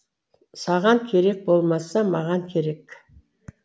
саған керек болмаса маған керек